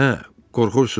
Hə, qorxursunuz?